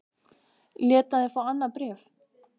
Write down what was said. Lét hann þig fá annað bréf?